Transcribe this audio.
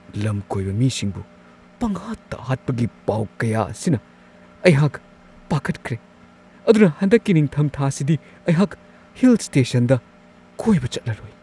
ꯂꯝꯀꯣꯏꯕ ꯃꯤꯁꯤꯡꯕꯨ ꯄꯪꯍꯥꯠꯇ-ꯍꯥꯠꯄꯒꯤ ꯄꯥꯎ ꯀꯌꯥ ꯑꯁꯤꯅ ꯑꯩꯍꯥꯛ ꯄꯥꯈꯠꯈ꯭ꯔꯦ ꯑꯗꯨꯅ ꯍꯟꯗꯛꯀꯤ ꯅꯤꯡꯊꯝꯊꯥꯁꯤꯗꯤ ꯑꯩꯍꯥꯛ ꯍꯤꯜ-ꯁ꯭ꯇꯦꯁꯟꯗ ꯀꯣꯏꯕ ꯆꯠꯂꯔꯣꯏ ꯫